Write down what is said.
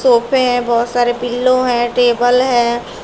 सोफे बहोत सारे पिलो हैं टेबल है।